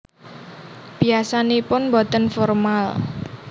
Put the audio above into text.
Biasanipun boten formal